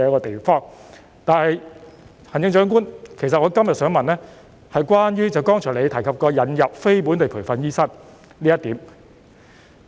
不過，行政長官，其實我今天想問的是關於你剛才提及引入非本地培訓醫生這一點。